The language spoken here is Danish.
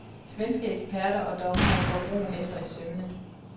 Svenske eksperter og dommere går broen efter i sømmene.